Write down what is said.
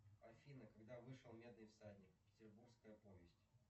афина когда вышел медный всадник петербургская повесть